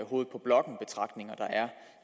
hovedet på blokken betragtninger der er